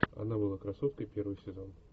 она была красоткой первый сезон